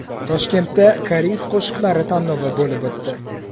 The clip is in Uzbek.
Toshkentda Koreys qo‘shiqlari tanlovi bo‘lib o‘tdi.